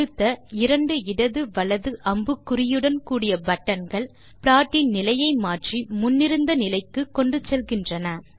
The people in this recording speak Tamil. அடுத்த இரண்டு இடது வலது அம்புக்குறியுடன் கூடிய பட்டன் கள் ப்லாடின் நிலையை மாற்றி முன்னிருந்த நிலைக்கு கொண்டு செல்கின்றன